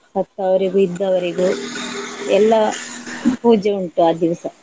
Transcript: ಸತ್ತವರಿಗೂ, ಇದ್ದವರಿಗೂ ಎಲ್ಲ ಪೂಜೆ ಉಂಟು ಆ ದಿವಸ.